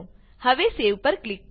હવે સેવ પર ક્લિક કરો